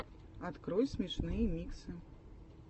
открой смешные миксы